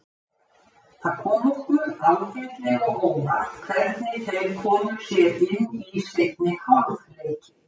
Það kom okkur ágætlega á óvart hvernig þeir komu sér inn í seinni hálfleikinn.